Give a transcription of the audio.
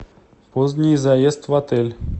поздний заезд в отель